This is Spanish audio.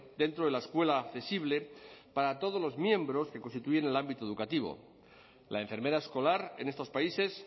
dentro de la escuela accesible para todos los miembros que constituyen el ámbito educativo la enfermera escolar en estos países